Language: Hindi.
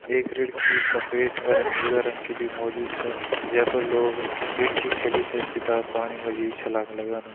एक रिड़खी सफ़ेद अर नीला रंग की बि मौजूद छा जैफर लोग रिड़खी खेली थे सिदा पानी मा जी छलांग लगांदा।